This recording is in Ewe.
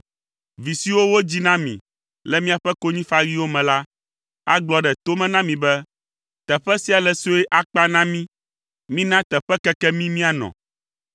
Vi siwo wodzi na mi le miaƒe konyifaɣiwo me la, agblɔ ɖe to me na mi be, ‘Teƒe sia le sue akpa na mí. Mina teƒe keke mí míanɔ.’